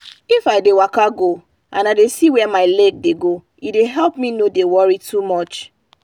if i dey waka slow and i dey see where my leg dey go e dey help me no dey worry too much.